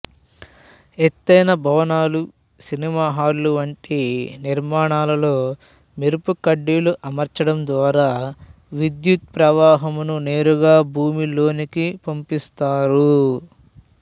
ఎత్తైన భవనాలు సినిమాహాలు వంటి నిర్మాణాలలో మెరుపుకడ్డీలు అమర్చడం ద్వారా విద్యుత్ ప్రవాహంను నేరుగా భూమిలోనికి పంపిస్తారు